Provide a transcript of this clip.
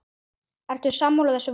Ertu sammála þessu vali?